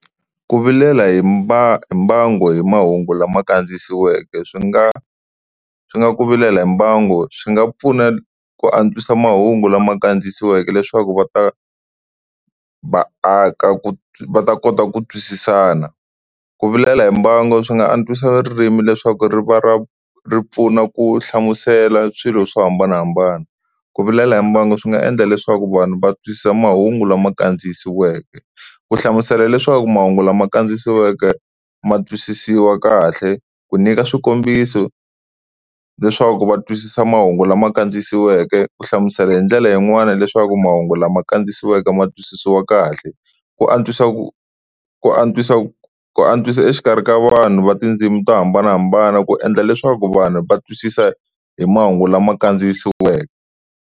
Ku vilela hi mbangu hi mahungu lama kandziyisiweke, swi nga swi nga ku vilela hi mbangu swi nga pfuna ku antswisa mahungu lama kandziyisiweke leswaku va ta vaaka ku va ta kota ku twisisana. Ku vilela hi mbangu swi nga antswisa ririmi leswaku ri va ra ri pfuna ku hlamusela swilo swo hambanahambana. Ku vilela hi mbangu swi nga endla leswaku vanhu va twisisa mahungu lama kandziyisiweke, ku hlamusela leswaku mahungu lama kandziyisiweke ma twisisiwa kahle ku nyika swikombiso leswaku va twisisa mahungu lama kandziyisiweke ku hlamusela hi ndlela yin'wana leswaku mahungu lama kandziyisiweke ma twisisiwa kahle. Ku antswisa ku ku antswisa ku antswisa exikarhi ka vanhu va tindzimi to hambanahambana ku endla leswaku vanhu va twisisa hi mahungu lama kandziyisiweke.